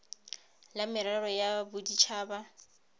la merero ya bodit haba